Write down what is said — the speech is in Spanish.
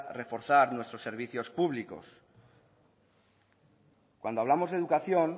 reforzar nuestros servicios públicos cuando hablamos de educación